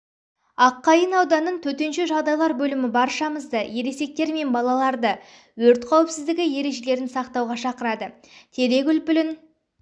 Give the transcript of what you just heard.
аққайын ауданын төтенше жағдайлар бөлімі баршамызды ересектер мен балаларды өрт қауіпсіздігі ережелерін сақтауға шақырады терек үлпілін